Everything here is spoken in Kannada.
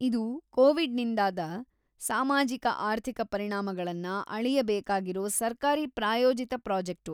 ಇದು ಕೋವಿಡ್‌ನಿಂದಾದ ಸಮಾಜೋ-ಆರ್ಥಿಕ ಪರಿಣಾಮಗಳನ್ನ ಅಳೆಯಬೇಕಾಗಿರೋ ಸರ್ಕಾರಿ ಪ್ರಾಯೋಜಿತ ಪ್ರಾಜೆಕ್ಟು.